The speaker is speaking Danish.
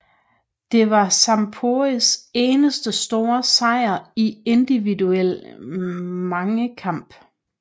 Det var Zamporis eneste store sejr i individuel mangekamp